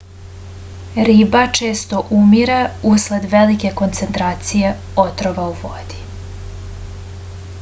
riba često umire usled velike koncentracije otrova u vodi